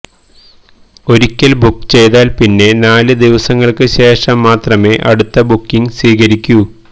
ഒരിക്കല് ബുക്ക് ചെയ്താല് പിന്നെ നാല് ദിവസങ്ങള്ക്ക് ശേഷം മാത്രമേ അടുത്ത ബുക്കിങ് സ്വീകരിക്കൂ